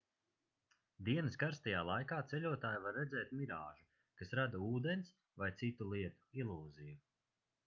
dienas karstajā laikā ceļotāji var redzēt mirāžu kas rada ūdens vai citu lietu ilūziju